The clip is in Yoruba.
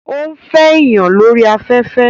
Ó ń fẹ́ èèyàn lórí afẹ́fẹ́